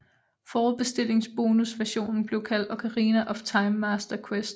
Forudbestillingsbonusversionen blev kaldt Ocarina of Time Master Quest